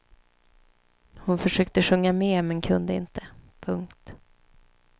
Hon försökte sjunga med men kunde inte. punkt